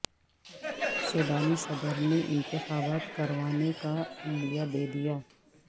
سوڈانی صدر نے انتخابات کروانے کا عندیہ دے دیا